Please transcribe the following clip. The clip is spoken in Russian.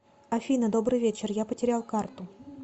афина добрый вечер я потерял карту